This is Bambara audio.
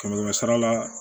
Kɛmɛ kɛmɛ sara la